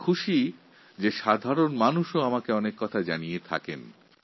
আমার কাছে আনন্দের বিষয় এই অ্যাপের মাধ্যমে বহু মানুষ আমাকে অনেক কিছু জানাচ্ছেন